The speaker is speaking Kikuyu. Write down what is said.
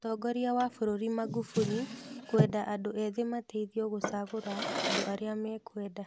Mũtongoria wa bũrũri Magufuli kwenda andũ ethĩ mateithio gũcagũra andũ arĩa mekwenda.